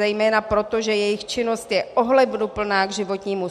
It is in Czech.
Zejména proto, že jejich činnost je ohleduplná k životnímu